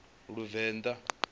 luvenḓa